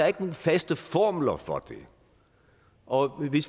ikke nogen faste formler for det og vi